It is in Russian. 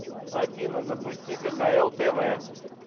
афина запусти кхл тв